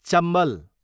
Chambal